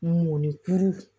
Mɔnikuru